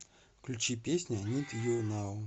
включи песня нид ю нау